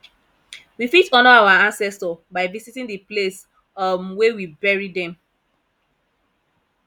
we fit honour our ancestor by visiting di place um wey we bury them